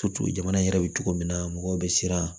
jamana yɛrɛ bɛ cogo min na mɔgɔw bɛ siran